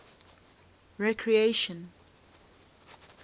recreation